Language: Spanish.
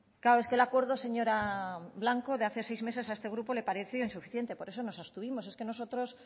claro es que el acuerdo de hace seis meses señora blanco a este grupo le pareció insuficiente por eso nos abstuvimos es que nosotros